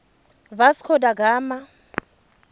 vasco da gama